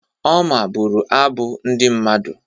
Oma bụrụ abụ ndị mmadụ.